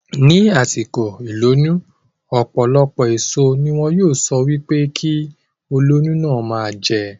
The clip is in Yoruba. Ní àsìkò ìlóyún, ọ̀pọ̀lọpọ̀ èso ní wọn yóò sọ wípé kí olóyún náà ma jẹ